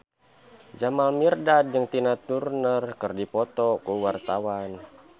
Jamal Mirdad jeung Tina Turner keur dipoto ku wartawan